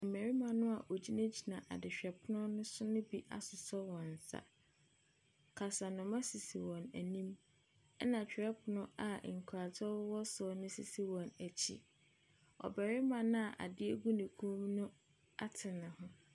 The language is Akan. Mmarima noa wɔgyinagyina adehwɛ pono no so bi asosɔ wɔn nsa. Kasanoma sisi wɔn anim ɛna kyerɛpono a nkratoɔ ɛwowɔ so no sisi wɔn akyi. Ɔbarimma noa ade gu no kɔn mu no ate ne ho.